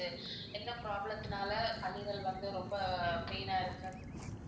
எந்த problem த்தினால கல்லீரல் வந்து ரொம்ப pain ஆ இருக்கு